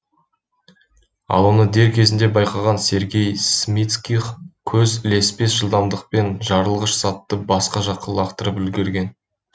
ал оны дер кезінде байқаған сергей смицких көз ілеспес жылдамдықпен жарылғыш затты басқа жаққа лақтырып үлгерген